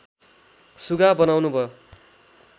सुगा बनाउनु भो